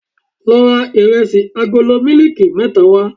Lọ ra Ìrẹsì agolo mílíìkì mẹ́ta wá.